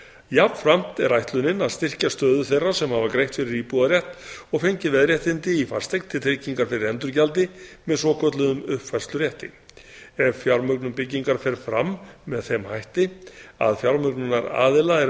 jafnframt er ætlunin að styrkja stöðu þeirra sem hafa greitt fyrir íbúðarrétt og fengið veðréttindi í fasteign til tryggingar fyrir endurgjaldi með svokölluðum uppfærslurétti ef fjármögnun byggingar fer fram með þeim hætti að fjármögnunaraðila er